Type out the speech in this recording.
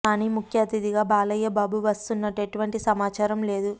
కానీ ముఖ్య అతిథిగా బాలయ్య బాబు వస్తున్నట్టు ఎటువంటి సమాచారం లేదు